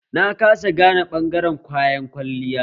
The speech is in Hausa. Na kasa gane ɓangaren kayan kwalliya